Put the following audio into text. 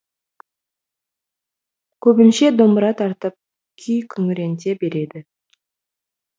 көбінше домбыра тартып күй күңіренте береді